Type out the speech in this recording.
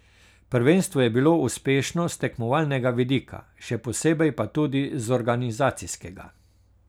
Prvenstvo je bilo uspešno s tekmovalnega vidika, še posebej pa tudi z organizacijskega.